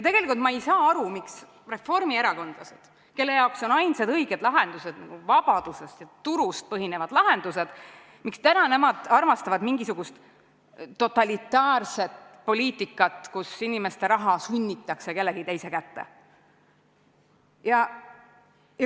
Tegelikult ma ei saa aru, miks reformierakondlased, kelle jaoks on ainsad õiged lahendused vabadusel ja turul põhinevad lahendused, armastavad mingisugust totalitaarset poliitikat, kus inimeste raha sunnitakse kellegi teise kätte.